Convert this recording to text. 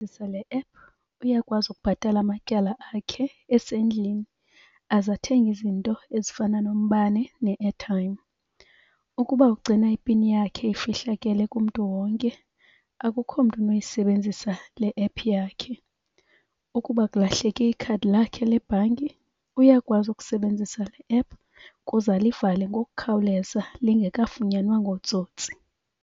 le app uyakwazi ukubhatala amatyala akhe esendlini, azathenge izinto ezifana nombane ne-airtime. Ukuba ugcina ipini yakhe ifihlakele kumntu wonke, akukho mntu unoyisebenzisa le app yakhe. Ukuba kulahleke ikhadi lakhe le bhanki uyakwazi ukusebenzisa le app kuze alivale ngokukhawuleza lingekafunyanwa ngootsotsi.